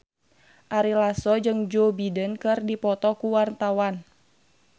Ari Lasso jeung Joe Biden keur dipoto ku wartawan